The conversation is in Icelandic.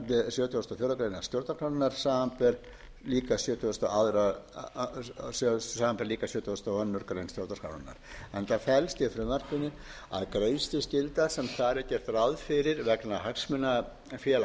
sjötugasta og fjórðu grein stjórnarskrárinnar samanber líka sjötugasta og aðra grein sjtórnrarskrárinnar án felst í frumvarpinu að greiðsluskylda sem þar er gert ráð fyrir vegna hagsmunafélags